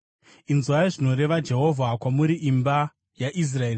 Inzwai zvinoreva Jehovha kwamuri, imi imba yaIsraeri.